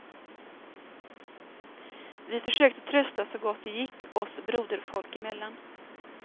Vi försökte trösta så gott det gick, oss broderfolk emellan.